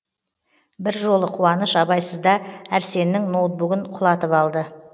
бір жолы қуаныш абайсызда әрсеннің ноутбугін құлатып алды